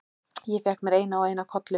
Ég fékk mér eina og eina kollu.